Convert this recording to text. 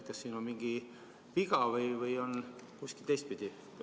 Kas siin on mingi viga või on kuskil teistpidi?